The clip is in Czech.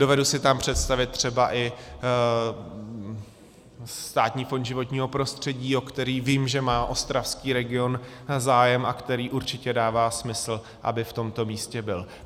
Dovedu si tam představit třeba i Státní fond životního prostředí, o který vím, že má ostravský region zájem, a který určitě dává smysl, aby v tomto místě byl.